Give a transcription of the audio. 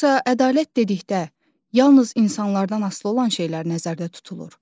Yoxsa ədalət dedikdə yalnız insanlardan asılı olan şeylər nəzərdə tutulur?